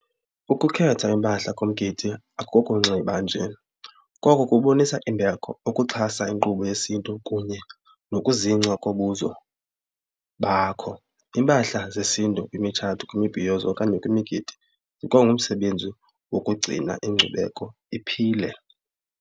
Ukukhetha iimpahla kumgidi akokunxiba nje. Koko kubonisa imbeko, ukuxhasa inkqubo yesiNtu kunye nokuzingca kobuzo bakho. Iimpahla zesiNtu kwimitshato, kwimibhiyozo okanye kwimigidi ikwa ngumsebenzi wokugcina inkcubeko iphile.